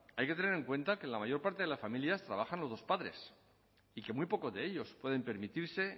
hay que tener en cuenta que en la mayor parte de las familias trabajan los dos padres y que muy poco de ellos pueden permitirse